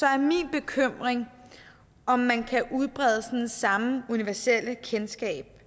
er min bekymring om man kan udbrede sådan det samme universelle kendskab